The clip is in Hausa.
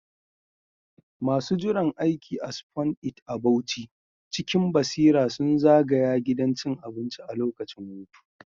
Masu jiran aiki a Spoon It a Bauchi cikin basira sun zagaya gidan cin abincin a lokacin hutu.